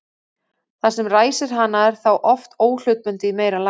Það sem ræsir hana er þá oft óhlutbundið í meira lagi.